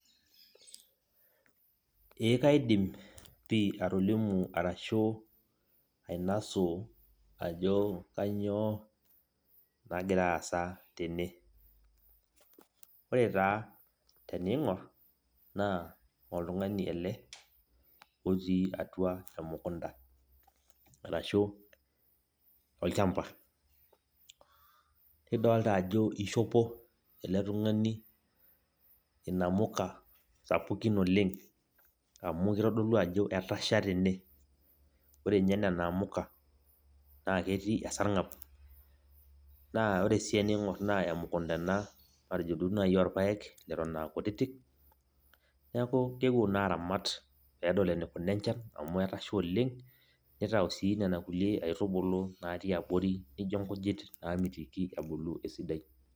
Eeh kaidim pih atolimu ashu ainou ajo kanyioo nagiraa aasa tene ore taa teneing'or naa oltung'ani ele otii atua emukunda ashua olchamba nidolita ajo eishopo ele tung'ani inamuka sapukin oleng amu keitodolu ajo etasha tene ore ninye nena amuka naa ketii esarng'ab naa ore sii teneing'or naa emukunta ena majetoduo naaji oorpaek eton aa kutitik neeku keeuo naa aramat peedol eneikuna enchan amu etasha oleng nitau sii nena kulie aitubulu natii abori nainio inkujit naamitiki ebulu.